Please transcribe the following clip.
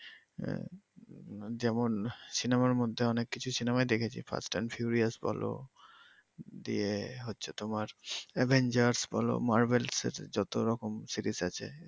যেমন সিনেমা র মধ্যে অনেক কিছু সিনেমায় দেখেছি ফাস্ট অ্যান্ড ফিউরিয়াস বল দিয়ে হচ্ছে তোমার আভেঞ্জেরস বল মারভেলসের যত রকম সিরিজ আছে